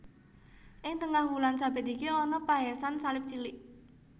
Ing tengah wulan sabit iki ana pahésan salib cilik